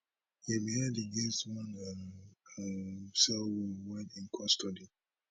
im head against one um um cell wall while in custody